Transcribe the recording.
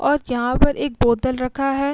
और यहां पर एक बोतल रखा है।